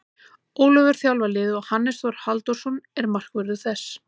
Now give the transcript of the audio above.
Ólafur þjálfar liðið og Hannes Þór Halldórsson er markvörður þess.